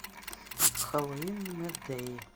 хэллоуин мэдеи